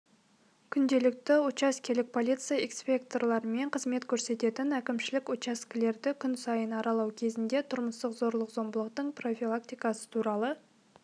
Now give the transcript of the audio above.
күнделікті учаскелік полиция инспекторларымен қызмет көрсететін әкімшілік учаскелерді күн сайын аралау кезінде тұрмыстық зорлық-зомбылықтың профилактикасы туралы